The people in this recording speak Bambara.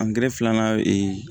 Angɛrɛ filanan